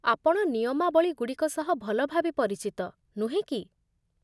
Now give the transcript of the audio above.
ଆପଣ ନିୟମାବଳୀଗୁଡ଼ିକ ସହ ଭଲ ଭାବେ ପରିଚିତ, ନୁହେଁ କି ?